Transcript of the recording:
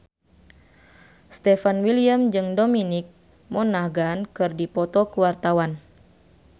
Stefan William jeung Dominic Monaghan keur dipoto ku wartawan